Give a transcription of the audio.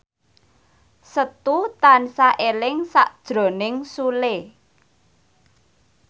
Setu tansah eling sakjroning Sule